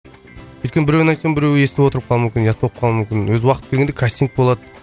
өйткені біреуіне айтсаң біреуі естіп отырып қалуы мүмкін ұят болып қалуы мүмкін өзі уақыты келгенде кастинг болады